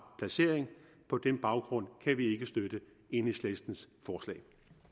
placering på den baggrund kan vi ikke støtte enhedslistens forslag